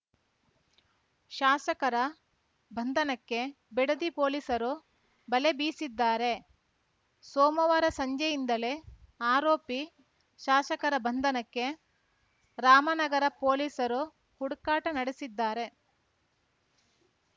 ಶಾಸಕರ ಬಂಧನಕ್ಕೆ ಬಿಡದಿ ಪೊಲೀಸರು ಬಲೆ ಬೀಸಿದ್ದಾರೆ ಸೋಮವಾರ ಸಂಜೆಯಿಂದಲೇ ಆರೋಪಿ ಶಾಸಕರ ಬಂಧನಕ್ಕೆ ರಾಮನಗರ ಪೊಲೀಸರು ಹುಡುಕಾಟ ನಡೆಸಿದ್ದಾರೆ